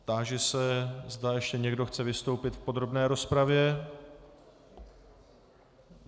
Táži se, zda ještě někdo chce vystoupit v podrobné rozpravě.